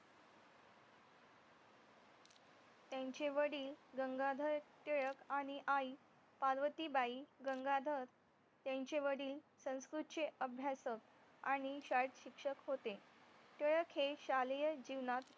त्यांचे वडील गंगाधर टिळक आणि आई पार्वतीबाई गंगाधर त्यांचे वडील संस्कृतचे अभ्यासक आणि शाळेत शिक्षक होते टिळक हे शाळेय जीवनात